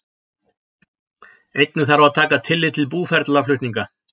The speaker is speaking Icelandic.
Einnig þarf að taka tillit til búferlaflutninga.